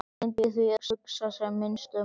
Hann reyndi því að hugsa sem minnst um hana.